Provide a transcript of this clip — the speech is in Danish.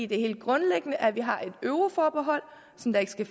det er helt grundlæggende at vi har et euroforbehold som der ikke skal